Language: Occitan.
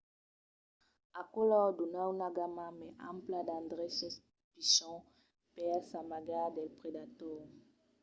aquò lor dona una gamma mai ampla d’endreches pichons per s’amagar dels predators